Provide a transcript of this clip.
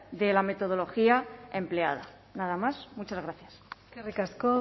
de la metodología empleada nada más muchas gracias eskerrik asko